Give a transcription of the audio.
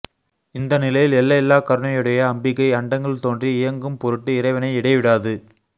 இந்த நிலையில் எல்லையில்லாக் கருணையுடைய அம்பிகை அண்டங்கள் தோன்றி இயங்கும் பொருட்டு இறைவனை இடைவிடாது